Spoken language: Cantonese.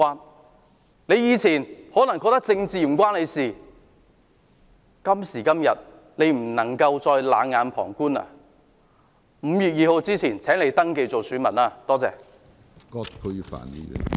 大家以前可能覺得政治與自己無關，但今天不能再冷眼旁觀，請在5月2日前登記做選民，多謝。